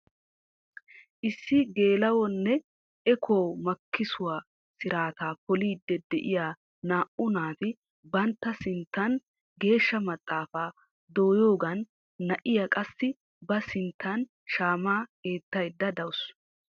Issi geluwaa nne ekuwaa makissuwaa siraataa poolidi de'iyaa naa"u naati bantta sinttan geeshsha maxaafaa doyoogan na'iyaa qassi ba sinttan shaamaa eettayda dawus.